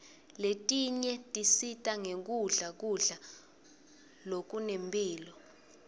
letinye tisita ngekudla kudla lokunemphilo